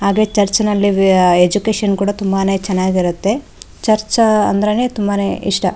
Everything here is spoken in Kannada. ಹಾಗೆ ಚರ್ಚ್ನಲ್ಲಿ ಎಜ್ಯುಕೇಷನ್ ಕೂಡ ತುಂಬಾನೆ ಚೆನ್ನಾಗಿರುತ್ತೆ ಚರ್ಚ್ ಅಂದ್ರೇನೆ ತುಂಬಾನೆ ಇಷ್ಟ .